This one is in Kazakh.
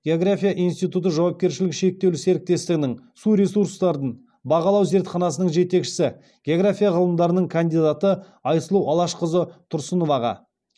география институты жауапкершілігі шектеулі серіктестігінің су ресурстарын бағалау зертханасының жетекшісі география ғылымдарының кандидаты айсұлу алашқызы тұрсыноваға